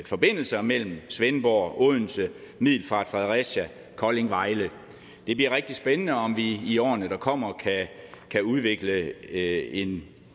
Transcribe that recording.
forbindelser mellem svendborg odense middelfart fredericia kolding vejle det bliver rigtig spændende om vi i årene der kommer kan udvikle en